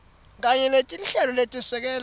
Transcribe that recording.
kanye netinhlelo letesekela